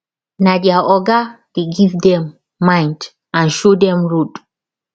na their oga dey give dem mind and show dem road